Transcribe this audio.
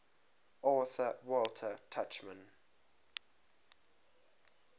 author walter tuchman